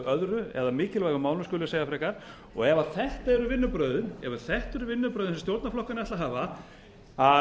öðru eða af mikilvægum málum skulum við segja frekar og ef þetta eru vinnubrögðin sem stjórnarflokkarnir ætla að hafa að